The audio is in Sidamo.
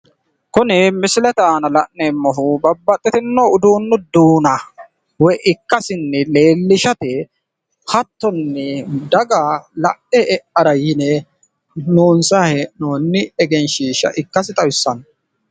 Kuni misilete aana la'neemmohu babbaxxitino uduunnu duuna woy ikkasinni leellishate hattonni daga lae e"ara yine loonsay hee'noonni egensiisha ikkasi xawissanno.